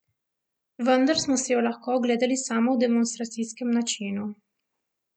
Vendar smo si jo lahko ogledali samo v demonstracijskem načinu.